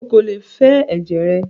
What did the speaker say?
Ó kò lè fẹ ẹ̀jẹ̀ rẹ!